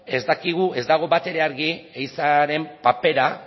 ez dakigu ez dago batere argi ehizaren papera